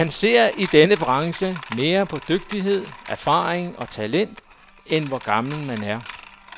Man ser i denne branche mere på dygtighed, erfaring og talent, end på hvor gammel man er.